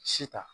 Si ta